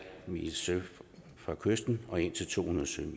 sømil fra kysten og indtil to hundrede sømil